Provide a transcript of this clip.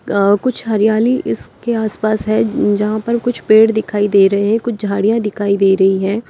कुछ हरियाली इसके आस पास है जहां पर कुछ पेड़ दिखाई दे रहे हैं कुछ झाड़ियां दिखाई दे रही है।